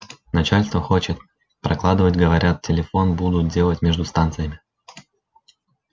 начальство хочет прокладывать говорят телефон будут делать между станциями